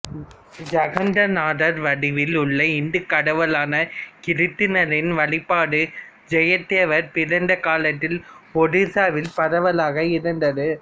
ஜகந்நாதர் வடிவில் உள்ள இந்துக் கடவுளான கிருட்டிணரின் வழிபாடு ஜெயதேவர் பிறந்த காலத்தில் ஒடிசாவில் பரவலாக இருந்தது